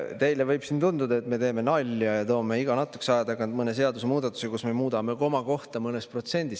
Teile võib tunduda, et me teeme nalja ja toome iga natukese aja tagant mõne seadusemuudatuse, kus me muudame komakohta mõnes protsendis.